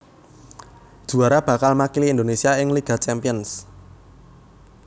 Juwara bakal makili Indonésia ing Liga Champions